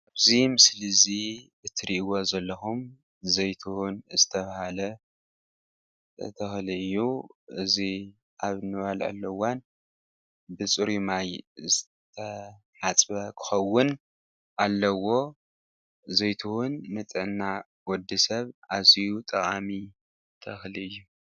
እዚ ምስሊ እዚ እትሪእዎ ዘለኩም ዘይትሁን ዝተባሃለ ተኽሊ እዩ እዚ ኣብ እንበልዐሉ እዋን ብፅሩይ ማይ ዝተሓፅበ ክኸውን ኣለዎ። ዘይትሁን ንጥዕና ወዲ ሰብ ኣዝዩ ጠቃሚ ተኽሊ እዩ፡፡